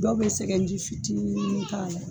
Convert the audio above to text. Dɔw bɛ sɛgɛji fitinin k'a la